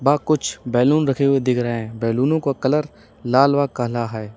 कुछ बैलून रखे हुए दिख रहे है बैलूनों का कलर लाल व काला है।